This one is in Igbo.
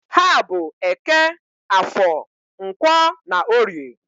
Ha bụ Eke, Afọr, Nkwọ na Orie.